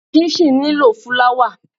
Chinchin nílò fúláwà.